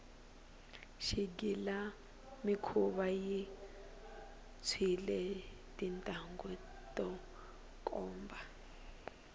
xigilamikhuva xi tshwile tintambhu to komba